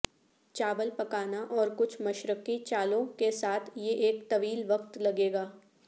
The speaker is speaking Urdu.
چاول پکانا اور کچھ مشرقی چالوں کے ساتھ یہ ایک طویل وقت لگے گا